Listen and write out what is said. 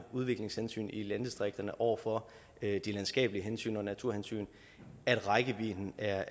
udviklingshensynet i landdistrikterne over for de landskabelige hensyn og naturhensyn at rækkevidden er